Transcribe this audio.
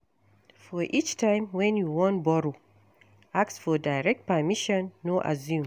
For each time wey you wan borrow, ask for direct permission, no assume